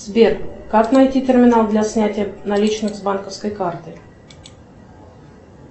сбер как найти терминал для снятия наличных с банковской карты